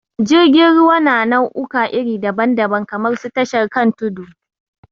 Jirgin ruwa na na'uka iri dabam dabam kamar su tashar kan tudu